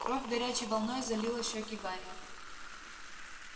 кровь горячей волной залила щеки гарри